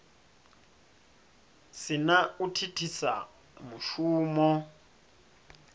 si na u thithisa mushumo